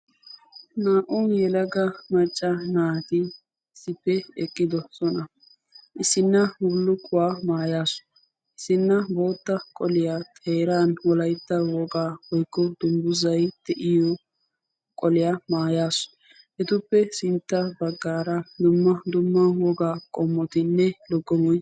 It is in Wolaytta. naa''u yelaga macca naati issippe eqqidoosona. issona bullukuwa maayasu, issina bootta qoliya xeeran wolaytta wogaa woykko dungguzzay de'iyo maayuwaa maayyasu, etuppe sintta baggaara dumma dumma wogaa qumaynne loggomoy ...